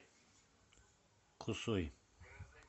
кусой